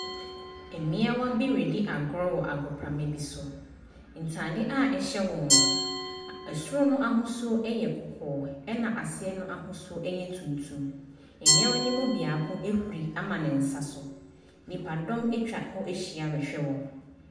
Mmea bi di akuro wɔ agorɔ wɔ agoprama be so ntaadeɛ a ɛhyɛ wɔn ɛsoro no ahusuo yɛ kɔkɔɔ ɛna aseɛ no ahusuo yɛ tuntum mmea no mu baako huri ama ne nsa so nipa dom ɛtwa wɔhyia ɛhwɛ wɔn.